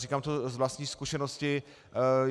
Říkám to z vlastní zkušenosti.